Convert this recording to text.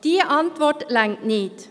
Diese Antwort genügt nicht.